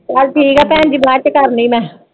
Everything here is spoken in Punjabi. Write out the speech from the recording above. ਬਸ ਠੀਕ ਆ ਭੈਣ ਜੀ ਬਾਅਦ ਚ ਕਰਨੀ ਮੈਂ।